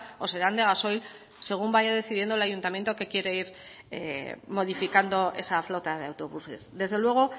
o serán de gasoil según vaya decidiendo el ayuntamiento que quiere ir modificando esa flota de autobuses desde luego